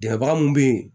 Dɛbaga mun bɛ yen